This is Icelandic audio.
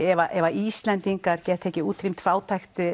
ef Íslendingar geta ekki útrýmt fátækt